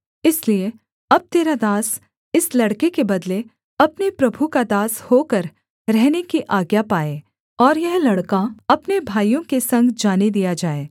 इसलिए अब तेरा दास इस लड़के के बदले अपने प्रभु का दास होकर रहने की आज्ञा पाए और यह लड़का अपने भाइयों के संग जाने दिया जाए